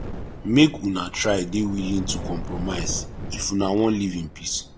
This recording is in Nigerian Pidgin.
make una try de willing to compromise if una won live in peace